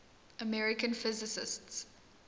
american physicists